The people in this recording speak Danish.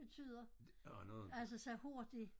betyder altså så hurtigt